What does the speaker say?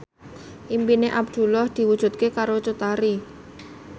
impine Abdullah diwujudke karo Cut Tari